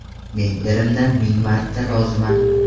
Men erimdan ming marta roziman.